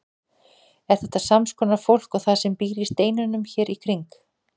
Er þetta sams konar fólk og það sem býr í steinunum hér í kring?